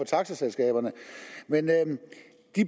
taxaselskaberne